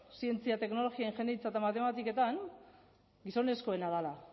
zientzia teknologia ingeniaritza eta matematiketan gizonezkoena dela